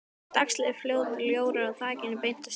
Dagsljósið féll inn um ljóra á þakinu beint á styttuna.